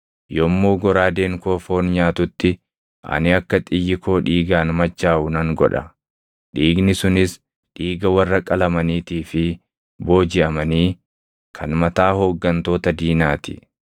Yommuu goraadeen koo foon nyaatutti, ani akka xiyyi koo dhiigaan machaaʼu nan godha; dhiigni sunis dhiiga warra qalamaniitii fi boojiʼamanii kan mataa hooggantoota diinaa ti.”